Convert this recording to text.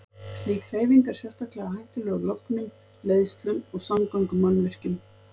Slík hreyfing er sérstaklega hættuleg lögnum, leiðslum og samgöngumannvirkjum.